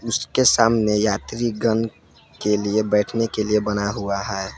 उसके सामने यात्रीगण के लिए बैठने के लिए बना हुआ है।